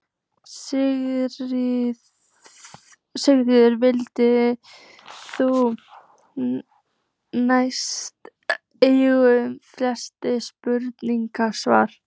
Sigurður vill því næst engum frekari spurningum svara.